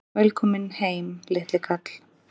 Velkominn heim, litli kall!